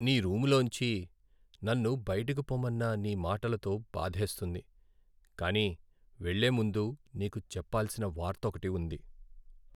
నీ రూములోంచి నన్ను బయటకు పొమ్మన్న నీ మాటలతో బాధేస్తుంది, కానీ వెళ్ళే ముందు నీకు చెప్పాల్సిన వార్తొకటి ఉంది.